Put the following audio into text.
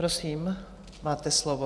Prosím, máte slovo.